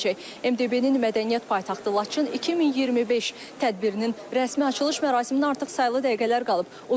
MDB-nin mədəniyyət paytaxtı Laçın 2025 tədbirinin rəsmi açılış mərasiminə artıq saylı dəqiqələr qalıb.